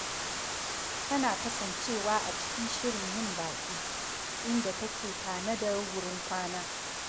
Tana kasancewa a cikin shirin yin baƙi, inda take tanadar wurin kwana